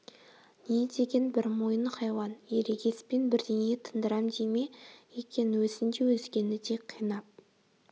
не деген бір мойын хайуан ерегеспен бірдеңе тындырам дей ме екен өзін де өзгені де қинап